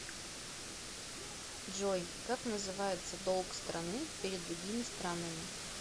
джой как называется долг страны перед другими странами